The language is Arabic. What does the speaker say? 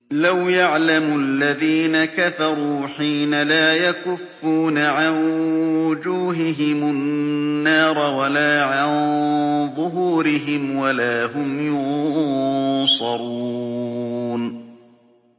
لَوْ يَعْلَمُ الَّذِينَ كَفَرُوا حِينَ لَا يَكُفُّونَ عَن وُجُوهِهِمُ النَّارَ وَلَا عَن ظُهُورِهِمْ وَلَا هُمْ يُنصَرُونَ